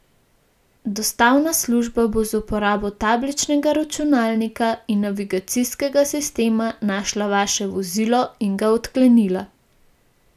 Dostavna služba bo z uporabo tabličnega računalnika in navigacijskega sistema našla vaše vozilo in ga odklenila.